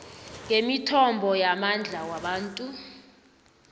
ngemithombo yamandla wabantu